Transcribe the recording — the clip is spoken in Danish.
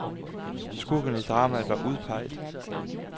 Skurkene i dramaet var udpeget.